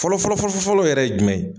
Fɔlɔ fɔlɔ fɔlɔ yɛrɛ ye jumɛn ye ?